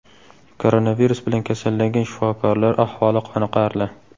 Koronavirus bilan kasallangan shifokorlar ahvoli qoniqarli.